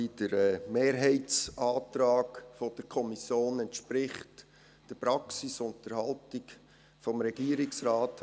Der Mehrheitsantrag der Kommission entspricht der Praxis und der Haltung des Regierungsrates.